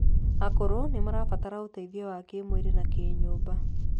Akũrũ nimarabatara ũteithio wa kimwĩrĩ na kinyũmba